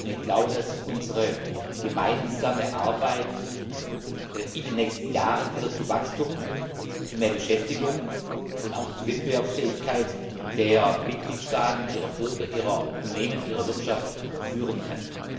Ich glaube, dass unsere gemeinsame Arbeit in den nächsten Jahren wieder zu Wachstum, zu mehr Beschäftigung und auch zu Wettbewerbsfähigkeit der Mitgliedstaaten, ihrer Bürger, ihrer Unternehmen, ihrer Wirtschaft führen kann.